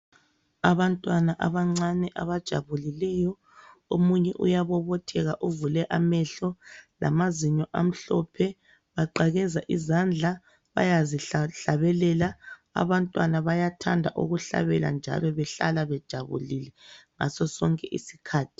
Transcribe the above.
Abantwana abancane abajabulileyo. Omunye uyabobotheka uvule amehlo lamazinyo amhlophe. Baqakeza izandla bayazihlabelela, abantwana bayathanda ukuhlabela njalo bahlala bejabulile ngasosonke isikhathi.